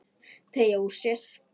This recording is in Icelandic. Teygir úr sér.